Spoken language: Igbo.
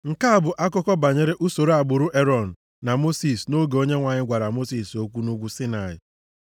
Nke a bụ akụkọ banyere usoro agbụrụ Erọn na Mosis nʼoge Onyenwe anyị gwara Mosis okwu nʼugwu Saịnaị.